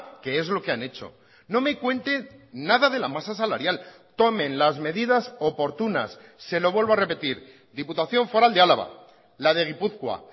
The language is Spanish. que es lo que han hecho no me cuente nada de la masa salarial tomen las medidas oportunas se lo vuelvo a repetir diputación foral de álava la de gipuzkoa